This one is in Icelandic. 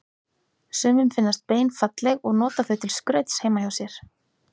Sumum finnast bein falleg og nota þau til skrauts heima hjá sér.